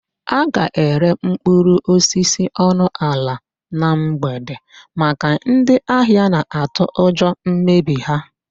A ga-ere mkpụrụosisi ọnụ ala na mgbede maka ndị ahịa na-atụ ụjọ mmebi ha.